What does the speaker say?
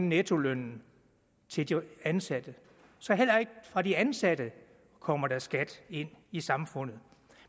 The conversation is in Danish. nettolønnen til de ansatte så heller ikke fra de ansatte kommer der skat ind i samfundet